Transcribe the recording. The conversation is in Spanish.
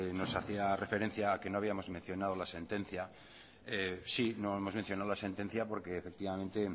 nos hacía referencia a que no habíamos mencionado la sentencia no hemos mencionado la sentencia porque efectivamente